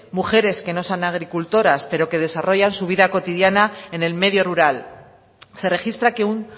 mujeres que no sean agricultoras pero que desarrollan su vida cotidiana en el medio rural se registra que un